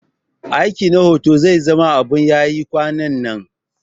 Aikin jarida na hoto zai zama abun yayi kwanannan